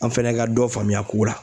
An fɛnɛ ka dɔ faamuya ko la.